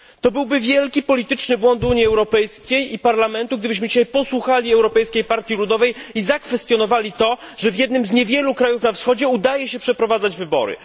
Byłby to wielki polityczny błąd Unii Europejskiej i Parlamentu, gdybyśmy posłuchali dzisiaj głosu Europejskiej Partii Ludowej i zakwestionowali fakt, że w jednym z niewielu krajów na Wschodzie udaje się przeprowadzać wybory.